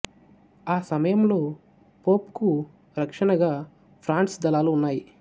ఆ సమయంలో పొప్ కు రక్షణగా ఫ్రాన్స్ దళాలు ఉన్నాయి